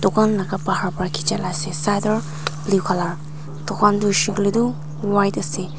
uhgan laka bahar bra khejia laka ase sador blue colour tugan tu hoi she koile tu white colour ase.